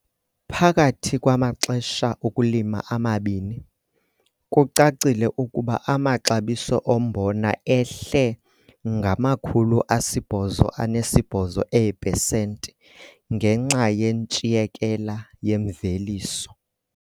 Phakathi kwamaxesha okulima amabini, kucacile ukuba amaxabiso ombona ehle ngama-88 eepesenti ngenxa yentshiyekela yemveliso.